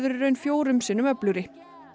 í raun fjórum sinnum öflugri